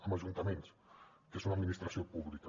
amb ajuntaments que són una administració pública